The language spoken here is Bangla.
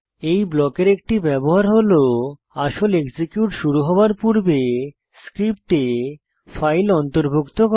এই ব্লকের একটি ব্যবহার হল আসল এক্সিকিউট শুরু হওয়ার পূর্বে স্ক্রিপ্টে ফাইল অন্তর্ভুক্ত করা